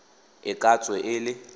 e ka tswe e le